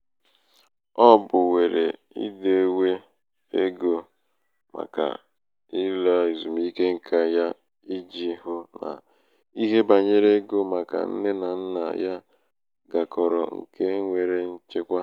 o bùwèrè idēwē egō màkà um ịlāèzùmike ṅkā yā ijī hụ um nà ihe bànyere ego màkà nne nà nnà ya kagoro ṅkā nwèrè nchekwa.